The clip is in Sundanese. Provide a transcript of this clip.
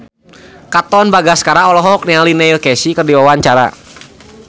Katon Bagaskara olohok ningali Neil Casey keur diwawancara